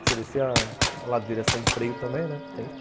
Você descia a ladeira sem freio também, né? ãh